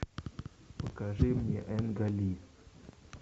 покажи мне энга ли